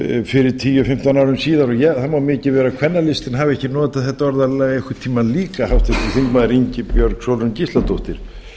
fyrir tíu fimmtán árum síðan og það má mikið vera að kvennalistinn hafi ekki notað þetta orðalag einhvern tíma líka háttvirtur þingmaður ingibjörg sólrún gísladóttir